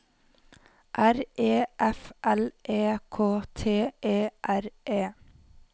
R E F L E K T E R E